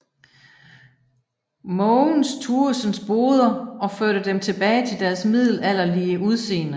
Mogens Tuesens Boder og førte dem tilbage til deres middelalderlige udseende